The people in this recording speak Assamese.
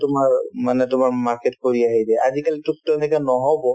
তোমাৰ মানে তোমাৰ market কৰি আহি দিয়ে আজিকালি নহ'ব